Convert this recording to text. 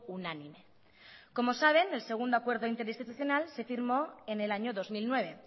unánime como saben el segundo acuerdo interinstitucional se firmó en el año dos mil nueve